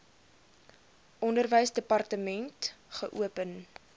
onderwysdepartement wkod geopen